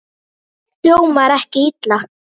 Hljómar ekki illa.